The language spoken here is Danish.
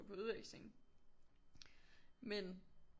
På udveksling men